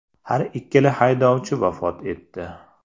Har ikkala haydovchi vafot etdi.